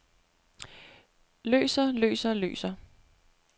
løser løser løser